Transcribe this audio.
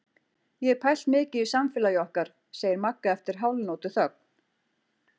Ég hef pælt mikið í samfélagi okkar, segir Magga eftir hálfnótuþögn.